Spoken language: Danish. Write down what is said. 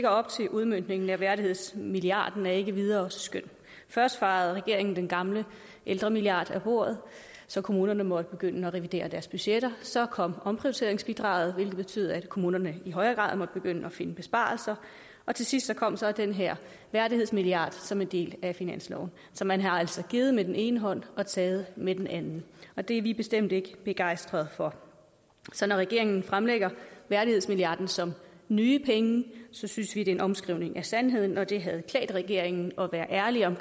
op til udmøntningen af værdighedsmilliarden er ikke videre skøn først fejede regeringen den gamle ældremilliard af bordet så kommunerne måtte begynde at revidere deres budgetter så kom omprioriteringsbidraget hvilket betød at kommunerne i højere grad måtte begynde at finde besparelser og til sidst kom så den her værdighedsmilliard som en del af finansloven så man har altså givet med den ene hånd og taget med den anden og det er vi bestemt ikke begejstret for så når regeringen fremlægger værdighedsmilliarden som nye penge synes vi det er en omskrivning af sandheden og det havde klædt regeringen at være ærlig om